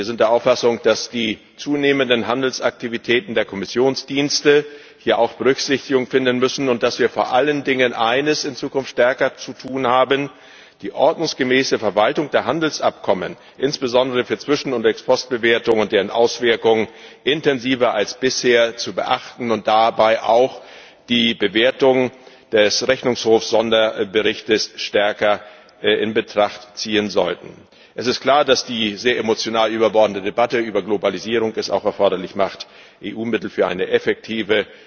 Wir sind der Auffassung, dass die zunehmenden Handelsaktivitäten der Kommissionsdienste hier auch Berücksichtigung finden müssen und dass wir vor allen Dingen eines in Zukunft stärker zu tun haben die ordnungsgemäße Verwaltung der Handelsabkommen, insbesondere für Zwischen und Ex post Bewertungen und deren Auswirkungen, intensiver als bisher zu beachten und dabei auch die Bewertung des Sonderberichtes des Rechnungshofs stärker in Betracht zu ziehen. Es ist klar, dass die sehr emotional überbordende Debatte über Globalisierung es auch erforderlich macht, EU Mittel für eine effektive